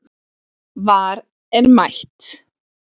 VAR er mætt